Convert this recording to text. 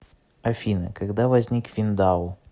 афина когда возник виндау